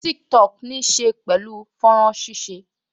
Tiktok níí ṣe pẹ̀lú fọ́nrán ṣíṣe